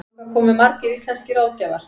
Þangað komu margir íslenskir ráðgjafar.